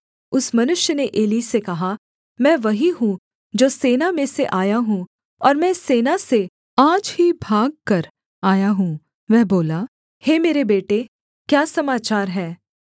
उस मनुष्य ने एली से कहा मैं वही हूँ जो सेना में से आया हूँ और मैं सेना से आज ही भागकर आया हूँ वह बोला हे मेरे बेटे क्या समाचार है